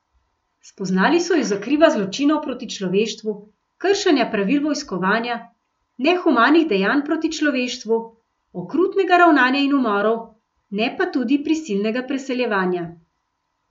Spoznali so ju za kriva zločinov proti človeštvu, kršenja pravil vojskovanja, nehumanih dejanj proti človeštvu, okrutnega ravnanja in umorov, ne pa tudi prisilnega preseljevanja.